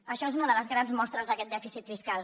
això és una de les grans mostres d’aquest dèficit fiscal